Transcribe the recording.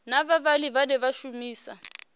na vhavhali vhane vha shumisa